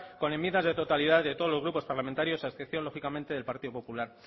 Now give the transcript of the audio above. con enmiendas de totalidad de todos los grupos parlamentarios a excepción lógicamente del partido popular